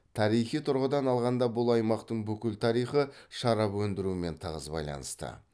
тарихи тұрғыдан алғанда бұл аймақтың бүкіл тарихы шарап өндірумен тығыз байланысты